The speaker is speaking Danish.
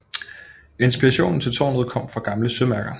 Inspirationen til tårnet kom fra gamle sømærker